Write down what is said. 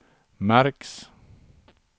märks